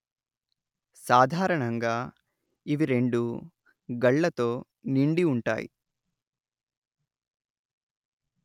సాధారణంగా ఇవి రెండూ గళ్లతో నిండివుంటాయి